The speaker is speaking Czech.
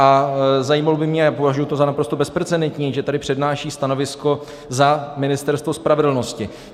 A zajímalo by mě, a považuji to za naprosto bezprecedentní, že tady přednáší stanovisko za Ministerstvo spravedlnosti.